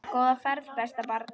Góða ferð besta barn.